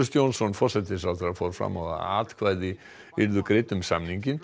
Johnson forsætisráðherra fór fram á að atkvæði yrðu greidd um samninginn